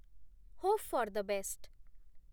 Hope for the best.